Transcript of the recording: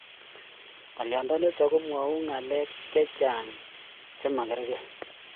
Ngalyo nitok komwau ngalek chechang che magargei